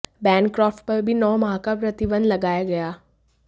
Bancroft पर भी नौ माह का प्रतिबंध लगाया गया